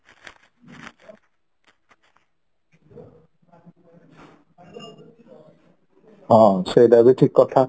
ହଁ ସେଇଟା ବି ଠିକ କଥା